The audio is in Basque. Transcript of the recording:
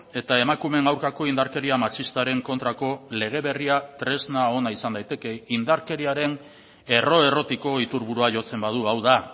eta emakumeen aurkako indarkeria matxistaren kontrako lege berria tresna ona izan daiteke indarkeriaren erro errotiko iturburua jotzen badu hau da